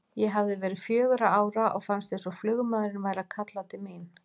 Ég hafði verið fjögurra ára og fannst eins og flugmaðurinn væri að kalla til mín.